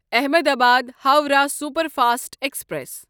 Ahmedabad Howrah superfast express